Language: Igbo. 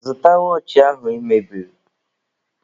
Zụta wọọchị ahụ I mebiri!